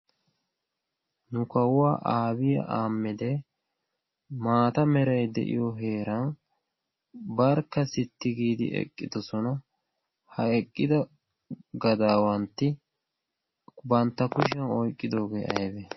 Nu kawua aabiyi ahaammedi maata merayi de"iyo heeran barkka sitti giidi eqqidosona. Ha eqqida gadaawantti bantta kushiyan oyqqidoigee aybee?